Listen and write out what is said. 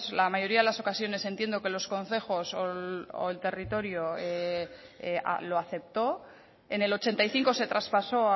la mayoría de las ocasiones entiendo que los concejos o el territorio lo aceptó en el ochenta y cinco se traspasó